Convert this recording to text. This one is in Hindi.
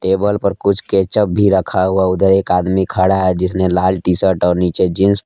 टेबल पर कुछ केचअप भी रखा हुआ उधर एक आदमी खड़ा है जिसने लाल टी शर्ट और नीचे जींस --